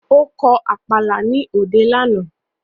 Ó kọ Àpàlà ní òde lánàá